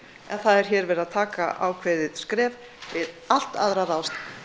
en það er hér verið að taka ákveðið skref við allt aðrar